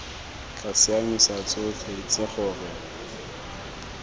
tla siamisa tsotlhe itse gore